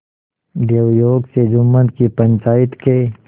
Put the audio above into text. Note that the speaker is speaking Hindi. दैवयोग से जुम्मन की पंचायत के